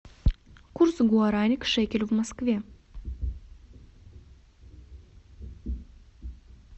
курс гуарани к шекелю в москве